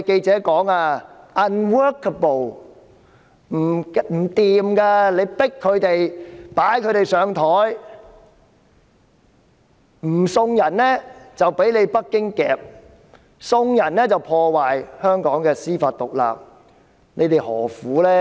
這樣強迫他們、擺他們上檯，不送人就會被北京捉拿，送人便會破壞香港的司法獨立，他們何苦呢？